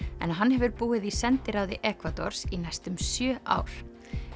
en hann hefur búið í sendiráði Ekvadors í næstum sjö ár